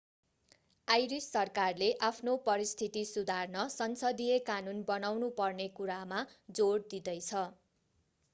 iris सरकारले आफ्नो परिस्थिति सुधार्न संसदीय कानून बनाउनु पर्ने कुरामा जोड दिँदैछ